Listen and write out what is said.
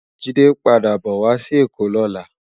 Jide npàdá bò wá si Ekó lòlá